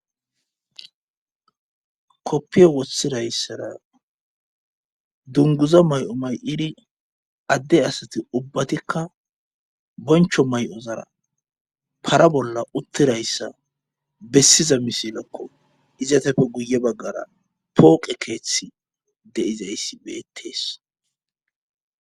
Koppiyo wossirayssara dunguza may7o may7iri adde asati ubbatikka boncho may7ozara para bolla uttirayssa bessiza misilakko izateppe guye baggara pooqe keeththi deizayssi beettees.